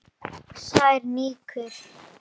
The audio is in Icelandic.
Sær rýkur.